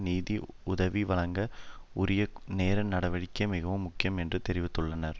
நிதி உதவி வழங்க உரிய நேர நடவடிக்கை மிகவும் முக்கியம் என்றும் தெரிவித்துள்ளார்